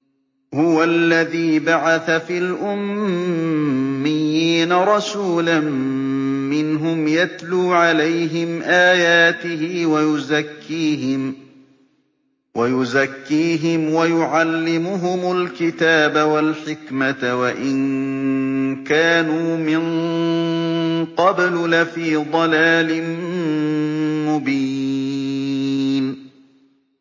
هُوَ الَّذِي بَعَثَ فِي الْأُمِّيِّينَ رَسُولًا مِّنْهُمْ يَتْلُو عَلَيْهِمْ آيَاتِهِ وَيُزَكِّيهِمْ وَيُعَلِّمُهُمُ الْكِتَابَ وَالْحِكْمَةَ وَإِن كَانُوا مِن قَبْلُ لَفِي ضَلَالٍ مُّبِينٍ